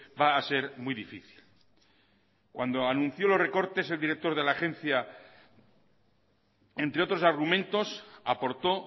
va a ser muy difícil cuando anunció los recortes el director de la agencia entre otros argumentos aportó